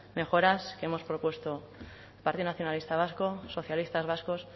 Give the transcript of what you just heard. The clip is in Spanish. mejoras que hemos propuesto partido nacionalista vasco socialistas vascos